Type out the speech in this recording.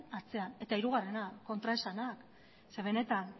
atzean eta hirugarrena kontraesanak ze benetan